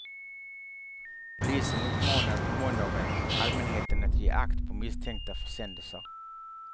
Polisen uppmanade på måndagen allmänheten att ge akt på misstänkta försändelser.